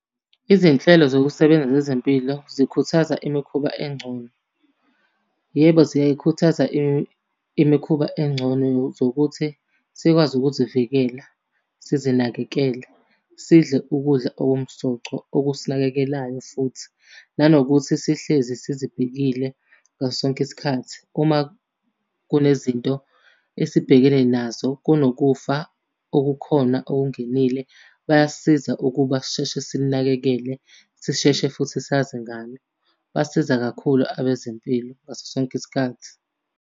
Izinhlelo zokusebenza zezempilo zikhuthaza imikhuba engcono. Yebo, ziyayikhuthaza imikhuba engcono zokuthi sikwazi ukuzivikela sizinakekele. Sidle ukudla okumsoco okusinakekelayo futhi. Nanokuthi sihlezi sizibhekile ngaso sonke isikhathi. Uma kunezinto esibhekene nazo kunokufa okukhona okungenile bayasisiza ukuba sisheshe sinakekele, sisheshe futhi sazi ngami. Basiza kakhulu abezempilo ngaso sonke isikhathi.